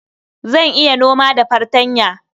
Zan iya noma da fartanya.